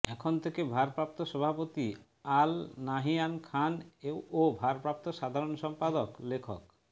এখন থেকে ভারপ্রাপ্ত সভাপতি আল নাহিয়ান খান ও ভারপ্রাপ্ত সাধারণ সম্পাদক লেখক